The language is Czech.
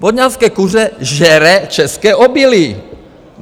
Vodňanské kuře žere české obilí.